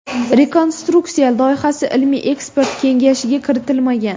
Rekonstruksiya loyihasi ilmiy-ekspert kengashiga kiritilmagan .